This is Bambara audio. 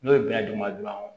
N'o ye bɛnɛ dun ma dɔrɔn